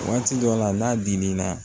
Waati dɔ la n'a dimin'a la